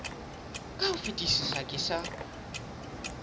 ka ho fetisisa ke sa